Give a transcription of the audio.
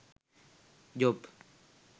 job